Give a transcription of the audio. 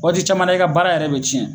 Waati caman na i ka baara yɛrɛ bi cɛn